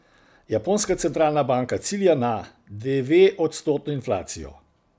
Japonska centralna banka cilja na dveodstotno inflacijo.